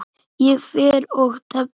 Ég fer og tefli!